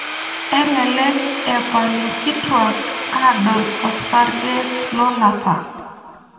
Elelek epal ikitwak adol osarge lolapa.